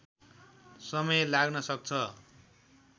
समय लाग्न सक्छ